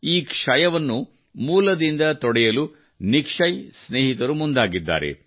ಈ ಕ್ಷಯವನ್ನು ಮೂಲದಿಂದ ತೊಡೆದುಹಾಕಲು ನಿಕ್ಷಯ್ ಸ್ನೇಹಿತರು ಮುಂದಾಗಿದ್ದಾರೆ